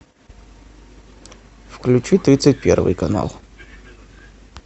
включи тридцать первый канал